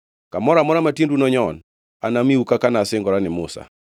Kamoro amora ma tiendu nonyon anamiu, kaka nasingora ni Musa.